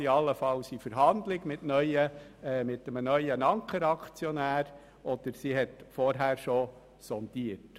So könnte die Regierung mit einem neuen Ankeraktionär in Verhandlung treten oder sie könnte schon vorher sondieren.